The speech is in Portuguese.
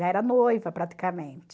Já era noiva praticamente.